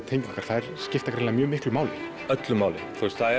tengingar þær skipta greinilega miklu máli öllu máli